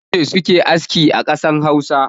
Maza ne suke aski a ƙasar Hausa